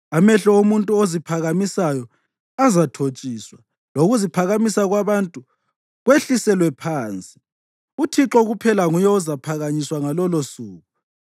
Amehlo omuntu oziphakamisayo azathotshiswa, lokuziphakamisa kwabantu kwehliselwe phansi; uThixo kuphela nguye ozaphakanyiswa ngalolosuku.